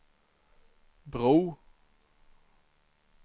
bro